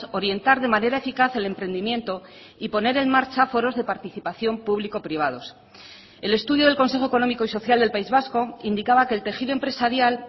orientar de manera eficaz el emprendimiento y poner en marcha foros de participación público privados el estudio del consejo económico y social del país vasco indicaba que el tejido empresarial